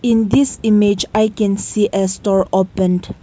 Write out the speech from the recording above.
in this image i can see a store opened.